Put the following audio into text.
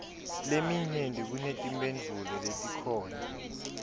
leminyenti kunetimphendvulo letikhona